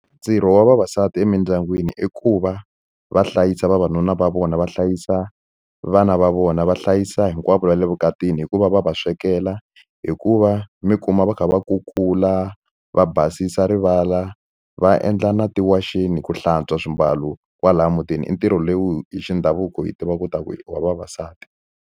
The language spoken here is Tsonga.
Ntirho wa vavasati emindyangwini i ku va va hlayisa vavanuna va vona va hlayisa vana va vona va hlayisa hinkwavo va le vukatini hikuva va va swekela hikuva mi kuma va kha va kukula va basisa rivala va endla na tiwaxeni ku hlantswa swimbalo kwalaya mutini i ntirho lowu hi xindhavuko hi tiva ku ta ku i wa vavasati.